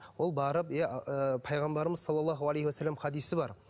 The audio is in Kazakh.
ол барып иә ы пайғамбарымыз салаллаху алейхи уассаламның хадисі бар